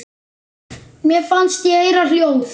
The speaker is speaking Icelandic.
Mér fannst ég heyra hljóð.